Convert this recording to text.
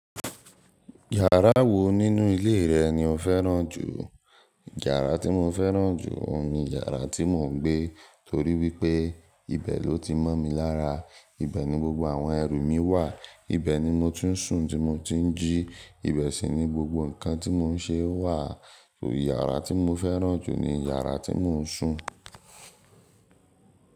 Yàrá wo nínú ilé rẹ ni o fẹ́ràn jù? Yàrá tí mo fẹ́ràn jù ni yàrá tí mò ń gbé, torí wípé ibẹ̀ ló ti mọ́ mi lára, ibẹ̀ ni gbogbo àwọn ẹrù mi wà, ibẹ̀ ni mo ti ń sùn tí mo ti ń jí, ibẹ̀ sì ni gbogbo nǹkan tí mò ń ṣe wà. Yàrá tí mo fẹ́ràn jù ni yàrá tí mò ń sùn.